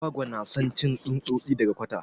Agwagwa na son cin tsutsosi daga kwata.